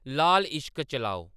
लाल इश्क चलाओ